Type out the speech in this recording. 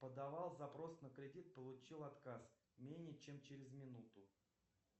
подавал запрос на кредит получил отказ менее чем через минуту